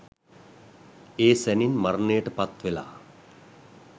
ඒ සැණින් මරණයට පත්වෙලා